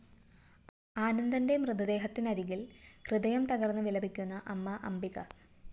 ആനന്ദന്റെ മൃതദേഹത്തിനരികില്‍ ഹൃദയം തകര്‍ന്ന് വിലപിക്കുന്ന അമ്മ അംബിക